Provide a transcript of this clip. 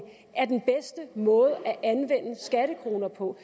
er den bedste måde at anvende skattekroner på